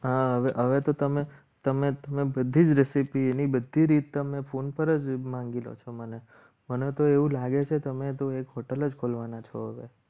હા હવે તો તમે તમે બધી જ રેસીપી એની બધી રીત તમને ફોન પર જ માંગી લો છો મને મને તો એવું લાગે છે તમે તો એક hotel જ ખોલવાના છો.